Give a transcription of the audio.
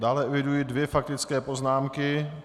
Dále eviduje dvě faktické poznámky.